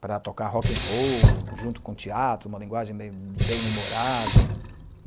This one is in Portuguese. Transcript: Para tocar rock in roll junto com teatro, uma linguagem meio bem-humorada.